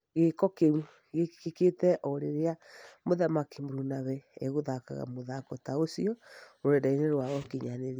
Gĩko kĩu gĩkĩkire o rĩrĩa mũthaki mũrunawe egũthakaga mũthako ta ũcio rũrendainĩ rwa ũkinyanĩria.